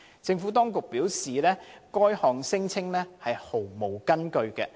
政府當局表示，該項聲稱毫無根據。